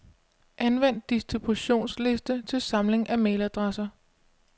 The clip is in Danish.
Anvend distributionsliste til samling af mailadresser.